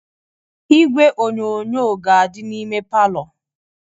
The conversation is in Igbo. Igwe onyonyo ga-adị n'ime palọ